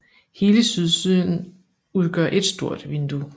Hele sydsiden udgør et stort vindue